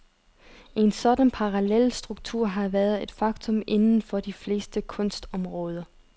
En sådan parallelstruktur har været et faktum inden for de fleste kunstområder.